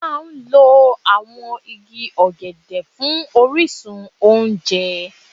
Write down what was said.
A máa ń lo àwọn igi ọ̀gẹ̀dẹ̀ fún orísun oúnjẹ.